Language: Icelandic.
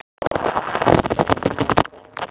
Hann fer á morgun.